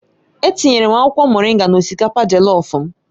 Etinyere m akwụkwọ moringa na osikapa Jellof m